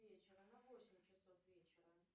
вечера на восемь часов вечера